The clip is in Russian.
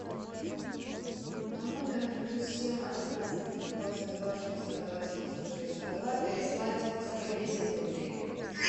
на номер плюс семь одиннадцать двадцать два шестьдесят два семьсот шестьдесят два переслать сто десять рублей